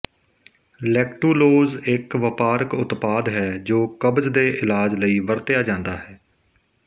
lactulose ਇਕ ਵਪਾਰਕ ਉਤਪਾਦ ਹੈ ਜੋ ਕਬਜ਼ ਦੇ ਇਲਾਜ ਲਈ ਵਰਤਿਆ ਜਾਂਦਾ ਹੈ